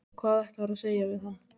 Hvað ætlarðu að segja við hann?